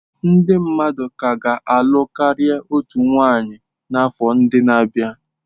Ndị mmadụ ka ga na-alụ karịa otu nwanyị n'afọ ndị na-abịa.